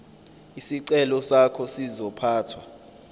isicelo sakho sizophathwa